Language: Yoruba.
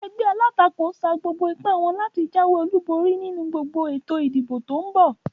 Egbé alátakò sa gbogbo ipá wón láti jáwé olúborí nínu ètò ìdìbò tón bò